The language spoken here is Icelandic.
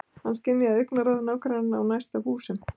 Hann skynjaði augnaráð nágrannanna úr næstu húsum.